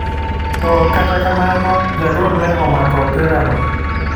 to kata kamano ,jagol ne omako opira no.